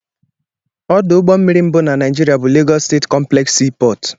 Ọdụ ụgbọmmiri mbụ na Naịjiria bụ Lagos steeti complex sea port.